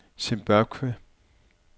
Zimbabwe